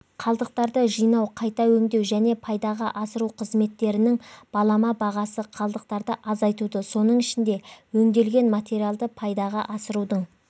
қалдықтарды жинау қайта өңдеу және пайдаға асыру қызметтерінің балама бағасы қалдықтарды азайтуды соның ішінде өңделген материалдарды пайдаға асырудың